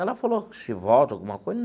Ela falou que se volta ou alguma coisa?